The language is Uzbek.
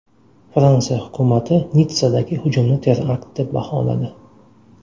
Fransiya hukumati Nitssadagi hujumni terakt deb baholadi.